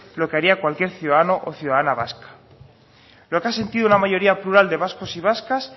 lo que haría cualquier ciudadano o ciudadana vasca lo que ha sentido una mayoría plural de vascos y vascas